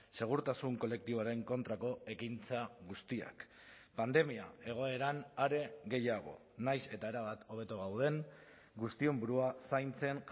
segurtasun kolektiboaren kontrako ekintza guztiak pandemia egoeran are gehiago nahiz eta erabat hobeto gauden guztion burua zaintzen